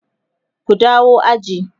ku dawo aji!